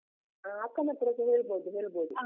ಹಾ ಅಕ್ಕನತ್ರಸ ಹೇಳ್ಬೋದು ಹೇಳ್ಬೋದು.